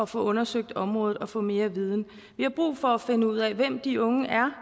få undersøgt området og få mere viden vi har brug for at finde ud af hvem de unge er